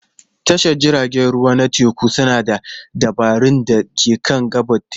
Tashar jiragen ruwa na teku suna da dabarun da ke kan gabar teku.